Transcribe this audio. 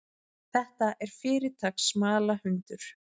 Þetta er fyrirtaks smalahundur.